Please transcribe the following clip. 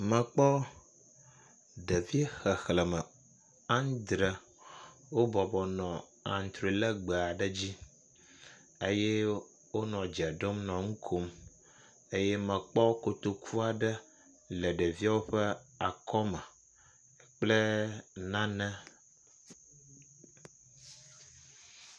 Mekpɔ ɖevi xexleme andre wo bɔbɔnɔ antrɔe legbe aɖe dzi eye wo nɔ dze ɖom nɔ nu kom eye mekpɔ kotoku aɖe le ɖeviawo ƒe akɔ me kple nane.